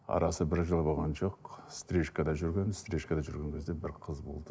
арасы бір жыл болған жоқ стрижкада жүргенмін стрижкада жүрген кезде бір қыз болды